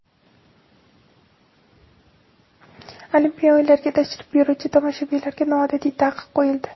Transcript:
Olimpiya o‘yinlariga tashrif buyuruvchi tomoshabinlarga noodatiy taqiq qo‘yildi.